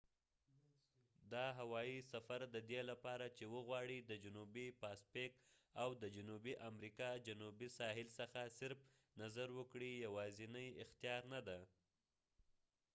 دا هوایي سفر ددې لپاره چې وغواړي د جنوبي پاسفیک او د جنوبي امریکا جنوبي ساحل څخه صرف نظر وکړې یواځينی اختیار ندي